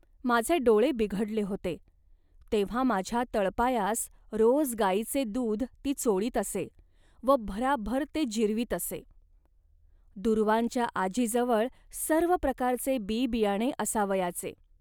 माझे डोळे बिघडले होते, तेव्हा माझ्या तळपायास रोज गाईचे दूध ती चोळीत असे व भराभर ते जिरवीत असे. दूर्वांच्या आजीजवळ सर्व प्रकारचे बीबियाणे असावयाचे